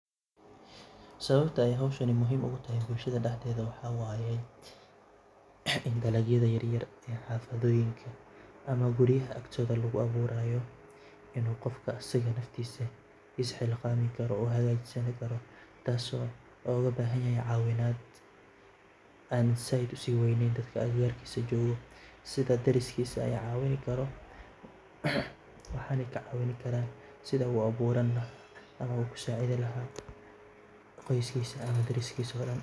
Sabatay howshani muhiim ogu tahay bulshada dhaxdeeda waxa waye in dalagyada yaryar ee xafadooyinka ama guriyaha agtoda lugu abuurayo inu qofka asaga naftiis is xil qami karoo oo uu hagajini sani karo taaso oga bahan yahay caawinad an zaaid usi weyneyn dadka agagaarsi jogo sida dariskiisa aya caawini karo waxayna kacaawini karan sida uu u abuurani laha ama uu kusaacidi laha qoyskisa ama dariiskiisa oo dhan